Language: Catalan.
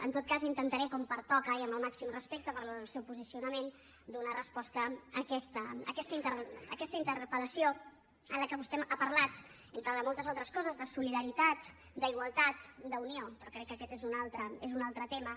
en tot cas intentaré com pertoca i amb el màxim respecte per al seu posicionament donar resposta a aquesta interpel·lació en la qual vostè ha parlat entre moltes altres coses de solidaritat d’igualtat d’unió però crec que aquest és un altre tema